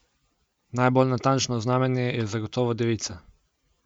Najbolj natančno znamenje je zagotovo devica.